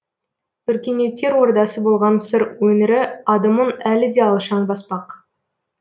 өркениеттер ордасы болған сыр өңірі адымын әлі де алшаң баспақ